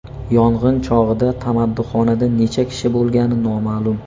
Yong‘in chog‘ida tamaddixonada necha kishi bo‘lgani noma’lum.